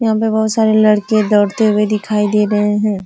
यहाँ पे बहुत सारे लड़के दौरते हुए दिखाई दे रहे हैं।